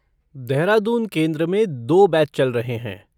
देहरादून केंद्र में दो बैच चल रहे हैं।